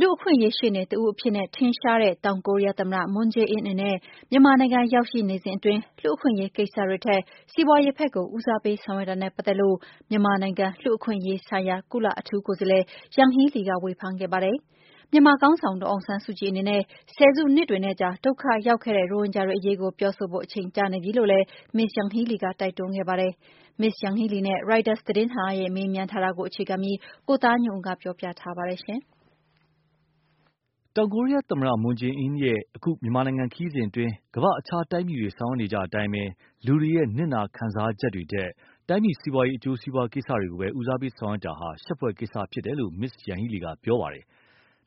လူ့အခွင့်အရေးရှေ့နေတဦးအဖြစ်နဲ့ ထင်ရှားတဲ့ တောင်ကိုရီယားသမ္မတ Moon Jae-In အနေနဲ့ မြန်မာနိုင်ငံရောက်ရှိ နေစဉ်အတွင်း လူ့အခွင့်အရေးကိစ္စတွေထက် စီးပွားရေးဖက်ကို ဦးစားပေးဆောင်ရွက်တာနဲ့ပတ်သက်လို့ မြန်မာနိုင်ငံလူ့အခွင့်အရေးဆိုင်ရာ ကုလအထူးကိုယ်စားလှယ် Yanhee Lee က ဝေဖန်ခဲ့ပါတယ်။ မြန်မာခေါင်းဆောင် ဒေါ်အောင်ဆန်းစုကြည်အနေနဲ့ ဆယ်စုနှစ်တွေနဲ့ကြာ ဒုက္ခရောက်ခဲ့တဲ့ ရိုဟင်ဂျာတွေအရေးကို ပြောဆိုဖို့ အချိန်ကျနေပြီလို့လည်း Ms.Yanhee Lee က တိုက်တွန်းခဲ့ပါတယ်။ Ms.Yanhee Lee နဲ့ AFP သတင်းဌာနဲ့ မေးမြန်းထားတာကို အခြေခံပြီး၊ ကိုသားညွန့်ဦး ပြောပြမှာပါ။ တောင်ကိုရီယားသမ္မတ Moon Jae-In ရဲ့ အခု မြန်မာနိုင်ငံခရီးစဉ်အတွင်း ကမ္ဘာ့အခြားတိုင်းပြည်တွေ ဆောင်ရွက်နေကြအတိုင်းပဲ၊ လူတွေရဲ့နစ်နာခံစားချက်တွေထက် တိုင်းပြည်စီးပွားရေး အကျိုးစီးပွား ကိစ္စတွေကိုသာ ဦးစားပေးဆောင်ရွက်တာဟာ ရှက်ဖွယ်ကိစ္စဖြစ်တယ်လို့ Ms.Yanhee Lee က ပြောခဲ့ပါတယ်။့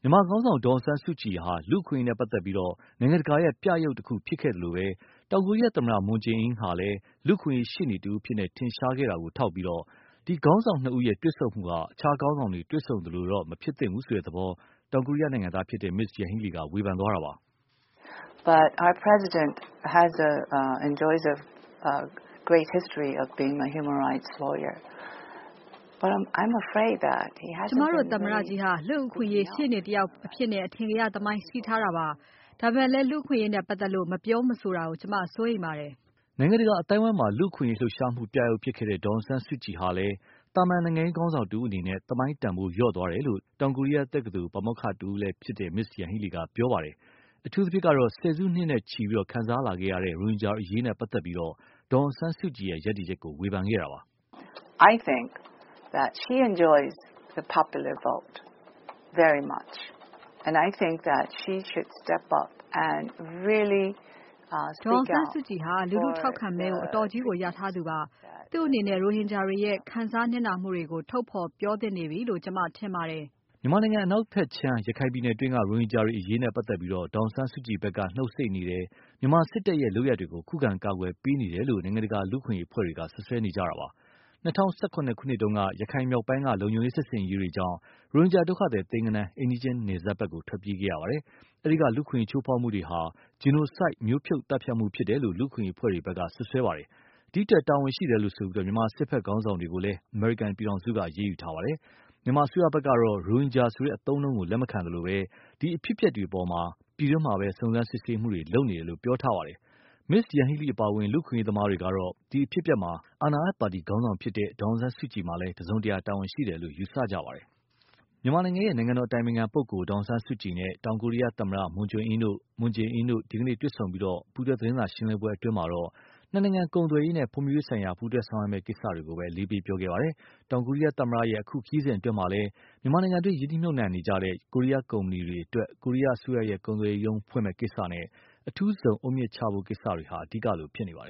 မြန်မာခေါင်းဆောင် ဒေါ်အောင်ဆန်းစုကြည်ဟာ လူ့အခွင့်အရေးနဲ့ပတ်သက်လို့ နိုင်ငံတကာရဲ့ ပြယုဂ် တခုလိုဖြစ်ခဲ့သလို၊ တောင်ကိုရီယားသမ္မတ Moon Jae-In ဟာလည်း လူ့အခွင့်အရေးရှေ့နေတဦးအဖြစ် ထင်ရှားခဲ့တာကို ထောက်ပြပြီး ဒီခေါင်းဆောင်နှစ်ဦးတွေ့ဆုံမှုဟာ အခြားခေါင်းဆောင်တွေ တွေ့ဆုံ သလိုတော့မဖြစ်သင့်ဘူးဆိုတဲ့သဘော တောင်ကိုရီးယားနိုင်ငံသား Ms.Yanhee Lee က ဝေဖန်ခဲ့တာပါ။ “ ကျမတို့သမ္မတကြီးဟာ လူ့အခွင့်အရးရှေ့နေတဦးအဖြစ်နဲ့ အထင်ကရ သမိုင်းရှိထားတာပါ။ ဒါပေမယ့်လည်း လူ့အခွင့်အရေးနဲ့ပတ်သက်လို့ မပြောမဆိုတာကို ကျမ စိုးရိမ်ပါတယ်။” နိုင်ငံတကာအသိုင်းအဝိုင်းမှာ လူ့အခွင့်အရေးလှုပ်ရှားမှုပြယုဂ်ဖြစ်ခဲ့တဲ့ ဒေါ်အောင်ဆန်းစုကြည်ဟာလည်း သာမန် နိုင်ငံ့ခေါင်းဆောင်တဦးအနေနဲ့ သမိုင်းတန်ဖိုးလျော့ကျသွားတယ်လို့ တောင်ကိုရီယားတက္ကသိုလ် ပါမောက္ခတဦးလည်းဖြစ်သူ Ms.Yanhee Lee က ပြောပါတယ်။ အထုူးသဖြင့်တော့ ဆယ်စုနှစ်နဲ့ ချီခံစားလာခဲ့ရတဲ့ ရိုဟင်ဂျာတွေအရေးနဲ့ပတ်သက်ပြီး ဒေါ်အောင်ဆန်းစုကြည်ရဲ့ ရပ်တည်ချက်ကို ဝေဖန်ခဲ့ပါတယ်။ “ ဒေါ်အောင်ဆန်းစုကြည်ဟာ လူထု ထောက်ခံမဲကို အတော်ကြီးရထားသူပါ။ သူ့အနေနဲ့ ရိုဟင်ဂျာတွေရဲ့ ခံစား နစ်နာမှုတွေကို ထုတ်ဖော်ပြောသင့်နေပြီလို့ ကျမထင်တယ်။” မြန်မာနိုင်ငံ အနောက်ခြမ်း ရခိုင်ပြည်နယ်တွင်းက ရိုဟင်ဂျာတွေအရေးနဲ့ပတ်သက်လို့ ဒေါ်အောင်ဆန်းစုကြည်ဖက်က နုတ်ဆိတ်နေတယ်၊ မြန်မာစစ်တပ်ရဲ့ လုပ်ရပ်တွေကို ခုခံ ကာကွယ်ပေးနေတယ်လို့ နိုင်ငံတကာလူ့အခွင့်အရေးအဖွဲ့တွေက စွပ်စွဲထားတာပါ။ ၂၀၁၇ နှစ်တုန်းက ရခိုင်မြောက်ပိုင်းက လုံခြုံရေးစစ်ဆင်ရေးတွေကြောင့် ရိုဟင်ဂျာဒုက္ခသည် သိန်းဂဏန်း အိမ်နီးချင်း နယ်စပ်ကို ထွက်ပြေးခဲ့ရပါတယ်။ အဲဒီက လူ့အခွင့်အရေးချိုးဖောက်မှုတွေဟာ Genocide မျိုးဖြုတ်သတ်ဖြတ်မှုဖြစ်တယ်လို့ လူ့အခွင့်အရေးအဖွဲ့တွေက စွပ်စွဲထားပါတယ်။ ဒီအတွက် တာဝန်ရှိတယ်လို့ဆိုပြီး မြန်မာစစ်ဖက်ခေါင်းဆောင် တွေကို အမေရိကန်ပြည်ထောင်စုက အရေးယူထားပါတယ်။ မြန်မာအစိုးရဖက်ကတော့ ရိုဟင်ဂျာဆိုတဲ့အသုံးအနှုန်းကို လက်မခံသလို၊ ဒီအဖြစ်အပျက်တွေကို ပြည်တွင်းမှာပဲ စုံစမ်းစစ်ဆေးမှုတွေလုပ်နေတယ်လို့ ပြောထားပါတယ်။ Ms.Yanhee Lee အပါအဝင် လူ့အခွင့်အရေးသမားတွေကတော့ ဒီအဖြစ်အပျက်မှာ အာဏာရပါတီခေါင်းဆောင်ဖြစ်တဲ့ ဒေါ်အောင်ဆန်းစုကြည်က တစုံတရာတာဝန်ရှိတယ်လို့ ယူဆကြပါတယ်။ မြန်မာနိုင်ငံတော်အတိုင်ပင်ခံပုဂ္ဂိုလ်ဒေါ်အောင်ဆန်းစုကြည်နဲ့ တောင်ကိုရီယားသမ္မတနဲ့ Moon Jae-In တို့ ဒီကနေ့ တွေ့ဆုံပြီး ပူးတွဲသတင်းစာရှင်းလင်းပွဲအတွင်းမှာ နှစ်နိုင်ငံ ကုန်သွယ်ရေးနဲ့ ဖွံဖြိုးရေးဆိုင်ရာပူးတွဲဆောင်ရွမယ့်ကိစ္စတွေကိုပဲ အလေးပေးပြောခဲ့ပါတယ်။ တောင်ကိုရိယားသမ္မတ ရဲ့ အခု ခရီးစဉ်အတွင်းမှာလည်း မြန်မာနိုင်ငံတွင်းရင်းနှီးမြုပ်နှံလုပ်ကိုင်နေတဲ့ ကိုရီယားကုမ္ပဏီတွေအတွက် ကိုရီယားအစိုးရကုန်သွယ်ရေးရုံးဖွင့်မယ့်ကိစ္စနဲ့ အထူးဇုံအုတ်မြစ်ချဖို့ကိစ္စတွေဟာ အဓိကလိုဖြစ်နေပါတယ်